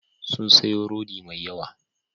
Sun sayo rodi mai yawa.